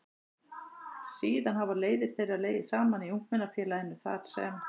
Síðan hafa leiðir þeirra legið saman í Ungmennafélaginu þar sem